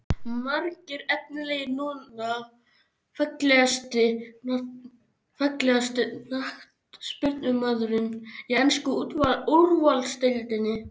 Margir efnilegir núna Fallegasti knattspyrnumaðurinn í ensku úrvalsdeildinni?